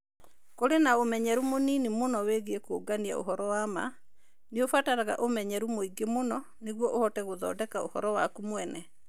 Kũrĩ na ũmenyeru mũnini mũno wĩgiĩ kũũngania ũhoro wa ma. Nĩ ũbataraga ũmenyeru mũingĩ mũno nĩguo ũhote gũthondeka ũhoro waku mwene.